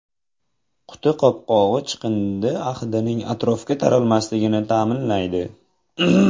Quti qopqog‘i chiqindi hidining atrofga taralmasligini ta’minlaydi.